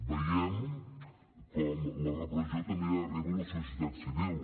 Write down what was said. veiem com la repressió també arriba a la societat civil